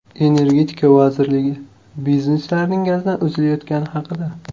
Energetika vazirligi bizneslarning gazdan uzilayotgani haqida.